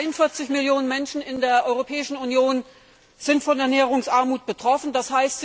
43 Millionen Menschen in der Europäischen Union sind von Ernährungsarmut betroffen, d.